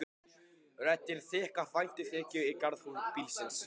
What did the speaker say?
Röddin þykk af væntumþykju í garð bílsins.